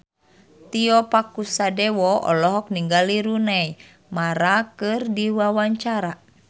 Tio Pakusadewo olohok ningali Rooney Mara keur diwawancara